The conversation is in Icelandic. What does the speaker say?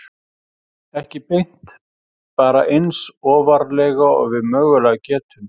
Ekki beint, bara eins ofarlega og við mögulega getum.